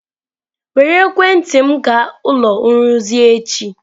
Were ekwentị m gaa ụlọ nrụzi echi!